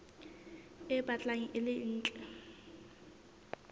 e batlang e le ntle